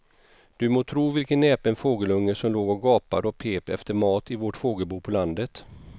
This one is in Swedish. Du må tro vilken näpen fågelunge som låg och gapade och pep efter mat i vårt fågelbo på landet.